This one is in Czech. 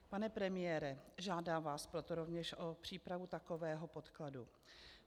Pane premiére, žádám vás proto rovněž o přípravu takového podkladu.